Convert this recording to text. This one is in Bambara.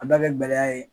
A da bɛ gɛlɛya ye